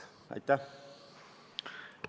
Aitäh!